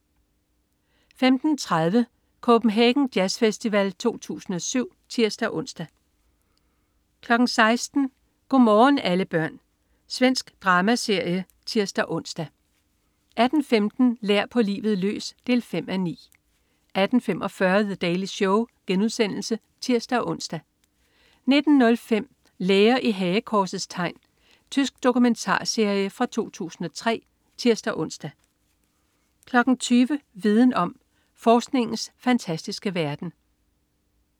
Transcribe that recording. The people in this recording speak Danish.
15.30 Copenhagen jazzfestival 2007 (tirs-ons) 16.00 God morgen alle børn. Svensk dramaserie (tirs-ons) 18.15 Lær på livet løs. 5:9 18.45 The Daily Show* (tirs-ons) 19.05 Læger i hagekorsets tegn. Tysk dokumentarserie fra 2003 (tirs-ons) 20.00 Viden om. Forskningens fantastiske verden